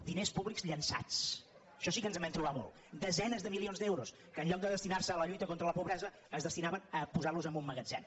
diners públics llançats d’això sí que ens vam trobar molt desenes de milions d’euros que enlloc de destinar·se a la lluita contra la pobresa es destinaven a posar·los en un magatzem